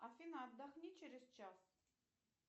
афина отдохни через час